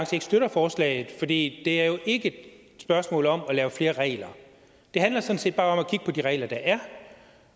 støtter forslaget for det er jo ikke et spørgsmål om at lave flere regler det handler sådan set bare om at kigge på de regler der er